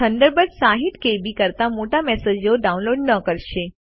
Thunderbird 60કેબી કરતાં મોટા મેસેજો ડાઉનલોડ ન કરશે